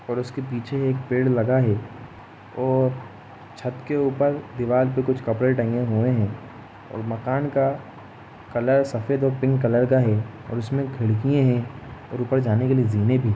और उसके पीछे पेड़ लगा है और छत के ऊपर दीवार पे कुछ कपड़े टंगे हुए हैं और मकान का कलर सफेद और पिंक कलर का हैं उसमें खिड़की है ऊपर जाने के लिए जीने भी --